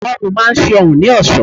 Ẹ̀gbá ọrùn máa ń ṣe ọrùn ní ẹ̀sọ́.